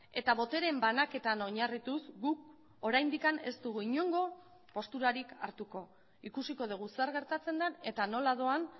eta boteren banaketan oinarrituz guk oraindik ez dugu inongo posturarik hartuko ikusiko dugu zer gertatzen den eta nola doan